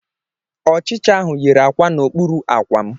Ọchịcha ahụ yiri akwa n'okpuru akwa m.